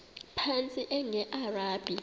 phantsi enge lrabi